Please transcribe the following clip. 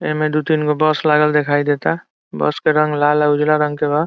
ए में दू तीन गो बस लागल दिखाई देता | बस के रंग लाल और उजला रंग के बा |